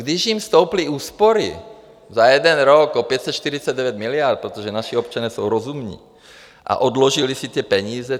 Když jim stouply úspory za jeden rok o 549 miliard, protože naši občané jsou rozumní a odložili si ty peníze.